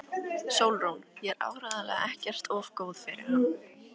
SÓLRÚN: Ég er áreiðanlega ekkert of góð fyrir hann.